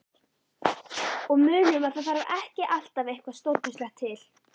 Og munum að það þarf ekki alltaf eitthvað stórkostlegt til.